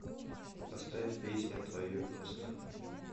поставь песня твое место